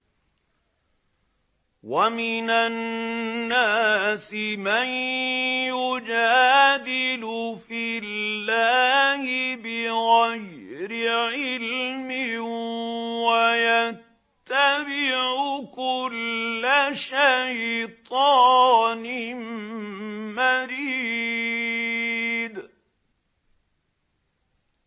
وَمِنَ النَّاسِ مَن يُجَادِلُ فِي اللَّهِ بِغَيْرِ عِلْمٍ وَيَتَّبِعُ كُلَّ شَيْطَانٍ مَّرِيدٍ